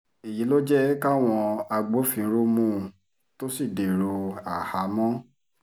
èyí ló jẹ́ káwọn agbófinró mú un tó sì dèrò àhámọ́